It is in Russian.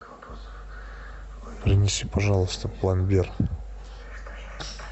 принеси пожалуйста пломбир